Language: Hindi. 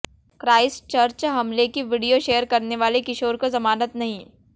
क्राइस्टचर्च हमले की वीडियो शेयर करने वाले किशोर को जमानत नहीं